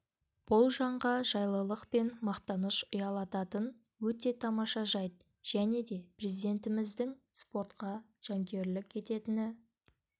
бұл жанға жайлылық пен мақтаныш ұялататын өте тамаша жайт және де президентіміздің спортқа жанкүйерлік ететініні